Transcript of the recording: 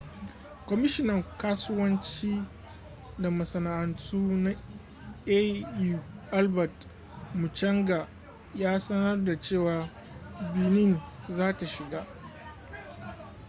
kwamishinan kasuwanci da masana'antu na au albert muchanga ya sanar da cewa benin za ta shiga